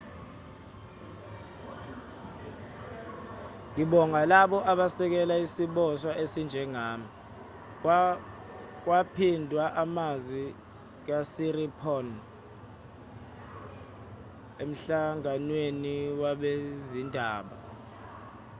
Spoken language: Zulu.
ngibonga labo abasekele isiboshwa esinjengami kwaphindwa amazwi kasiriporn emhlanganweni wabezindaba